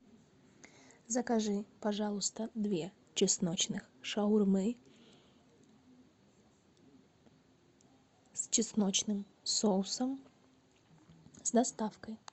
закажи пожалуйста две чесночных шаурмы с чесночным соусом с доставкой